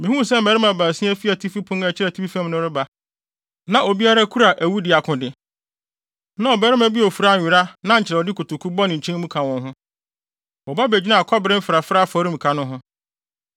Mihuu sɛ mmarima baasia fi atifi pon a ɛkyerɛ atifi fam reba, na obiara kura awudi akode. Na ɔbarima bi a ofura nwera na nkyerɛwde kotoku bɔ ne nkyɛn mu ka wɔn ho. Wɔba begyinaa kɔbere mfrafrae afɔremuka no ho.